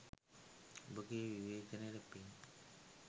ඔබගේ විවේචනයට පින්